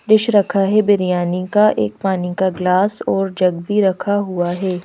Dish रखा है बिरियानी का एक पानी का गिलास और जग भी रखा हुआ है।